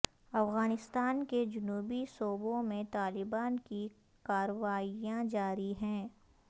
افغانستان کے جنوبی صوبوں میں طالبان کی کارروائیاں جاری ہیں